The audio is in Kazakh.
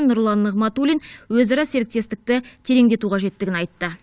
нұрлан нығматулин өзара серіктестікті тереңдету қажеттігін айтты